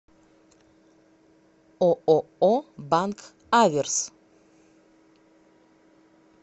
ооо банк аверс